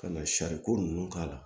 Ka na sariko ninnu k'a la